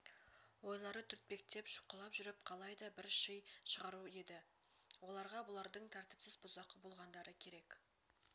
ойлары түртпектеп шұқылап жүріп қалай да бір ши шығару еді оларға бұлардың тәртіпсіз бұзақы болғандары керек